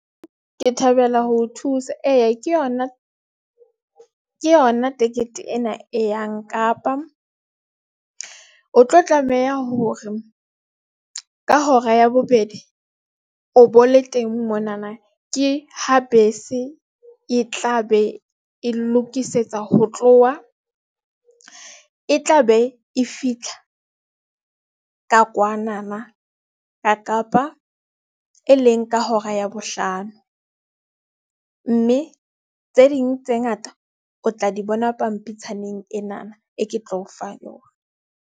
Ke thabela ho thusa eya ke yona ke yona tikete ena e yang Kapa o tlo tlameha hore ka hora ya bobedi o bo le teng. Mona na ke ha bese e tla be e lokisetsa ho tloha, e tla be e fitlha ka kwana na Kapa e leng ka hora ya bohlano mme tse ding tse ngata o tla di bona pampitshaneng ena na e ke tlo o fa yona.